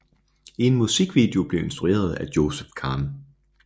En musikvideo blev instrueret af Joseph Khan